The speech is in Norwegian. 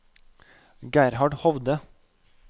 Gerhard Hovde